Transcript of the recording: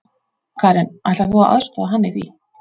Karen: Ætlar þú að aðstoða hann í því?